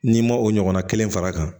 N'i ma o ɲɔgɔnna kelen fara a kan